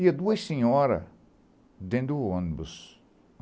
Iam duas senhoras dentro do ônibus.